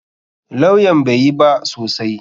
Lawyan bai yi ba sosai.